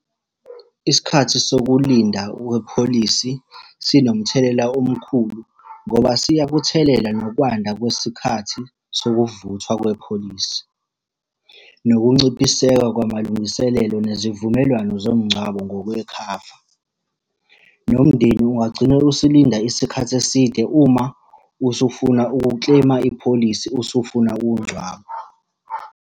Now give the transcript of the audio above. Isikhathi sokulinda wepholisi sinomthelela omkhulu, ngoba siyakuthelela nokwanda kwesikhathi sokuvuthwa kwepholisi. Nokunciphiseka kwamalungiselelo nezivumelwano zomngcwabo ngokwekhava. Nomndeni ungagcina usulinda isikhathi eside uma usufuna ukukleyima ipholisi usufuna ukungcwaba.